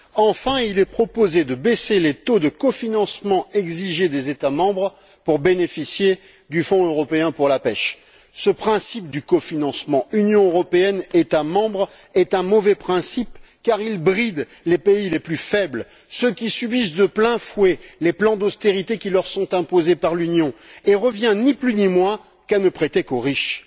Enfin, il est proposé de baisser les taux de cofinancement exigés des États membres pour bénéficier du Fonds européen pour la pêche. Ce principe du cofinancement Union européenne États membres est un mauvais principe car il bride les pays les plus faibles, ceux qui subissent de plein fouet les plans d'austérité qui leur sont imposés par l'Union et revient, ni plus ni moins, à ne prêter qu'aux riches.